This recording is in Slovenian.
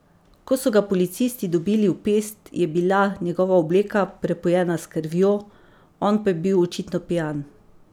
Ko so ga policisti dobili v pest, je bila njegova obleka prepojena s krvjo, on pa je bil očitno pijan.